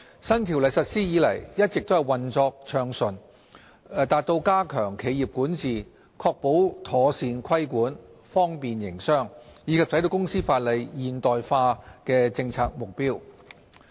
新《條例》實施以來一直運作順暢，達到加強企業管治、確保妥善規管、方便營商，以及使公司法例現代化的政策目標。